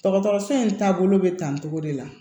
Dɔgɔtɔrɔso in taabolo bɛ tan togo de la